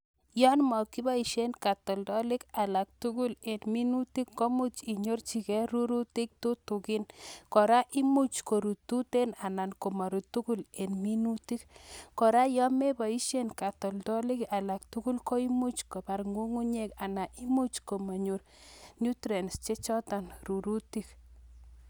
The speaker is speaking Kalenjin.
Yon mokiboisien katoltolik alak tugul en minutik komuch inyorchigee rurutik tutukin kora imuch korut tuten anan komorut tugul en minutik, kora yon meboisien katoltolik alak tugul koimuch kobar ng'ung'u nyek ana imuch komanyor nutrients chechoton rurutik